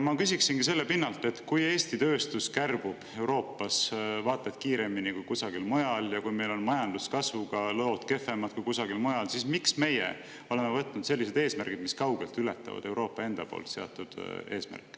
Ma küsiksingi selle pinnalt, et kui Eesti tööstus kärbub Euroopas vaata et kiiremini kui kusagil mujal ja kui meil on majanduskasvuga lood kehvemad kui kusagil mujal, siis miks meie oleme võtnud sellised eesmärgid, mis kaugelt ületavad Euroopa enda poolt seatud eesmärke.